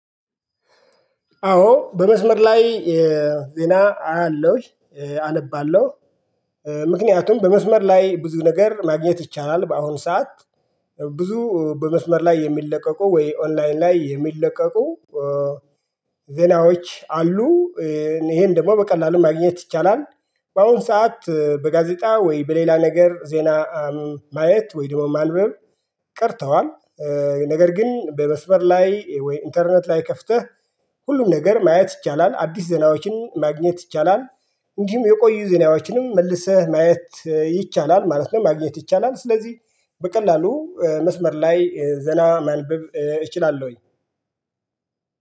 አዎ በመስመር ላይ ዜና አያለው፣ አነባለው። ምክንያቱም በመስመር ላይ ብዙ ነገር ማግኘት ይቻላል በአሁን ሰዓት። ብዙ በመስመር ላይ የሚለቀቁ ወይ ኦንላይን ላይ የሚለቀቁ ዜናዎች አሉ። ይሄን ደግሞ በቀላሉ ማግኘት ይቻላል። በአሁን ሰዓት በጋዜጣ ወይ በሌላ ነገር ዜና ማየት ወይ ደግሞ ማንበብ ቀርተዋል። ነገር ግን በመስበር ላይ ወይ ኢንተርኔት ላይ ከፍተህ ሁሉም ነገር ማየት ይቻላል። አዲስ ዜናዎችን ማግኘት ይቻላል። እንዲሁም የቆዩ ዜናዎችንም መልሰህ ማየት ይቻላል ማለት ነው፤ ማግኘት ይቻላል። ስለዚህ በቀላሉ መስመር ላይ ዜና ማንበብ እችላለሁኝ።